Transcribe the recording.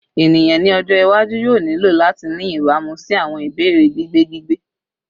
Eniyan ni ọjọ iwaju yoo nilo lati ni ibamu si awọn ibeere gbigbe gbigbe